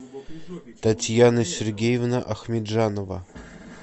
татьяна сергеевна ахмеджанова